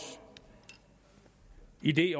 idé